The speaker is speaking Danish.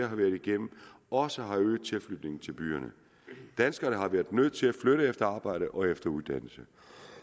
har været igennem også har øget tilflytningen til byerne danskerne har været nødt til at flytte efter arbejde og efter uddannelse